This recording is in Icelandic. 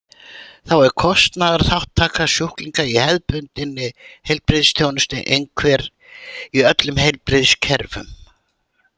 Þá er kostnaðarþátttaka sjúklinga í hefðbundinni heilbrigðisþjónustu einhver í öllum heilbrigðiskerfum.